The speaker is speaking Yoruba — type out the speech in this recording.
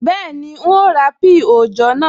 Bẹ́ẹ̀ni, n ó ra píì òòjọ́ naa